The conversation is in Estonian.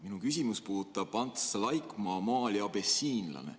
Minu küsimus puudutab Ants Laikmaa maali "Abessiinlane".